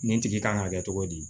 Nin tigi kan ka kɛ cogo di